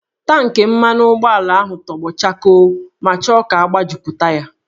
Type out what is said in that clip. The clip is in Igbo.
Tankị mmanụ ụgbọala ahụ tọgbọ chakoo ma chọọ ka agbajupụta ya